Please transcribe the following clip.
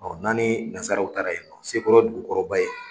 n'an ni nazaraw taara yen nɔ sekɔrɔ ye dugu kɔrɔba ye.